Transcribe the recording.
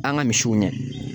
An ka misiw ɲɛ